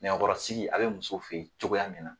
Nɛgɛ kɔrɔ sigi a be musow fe yen cogoya min na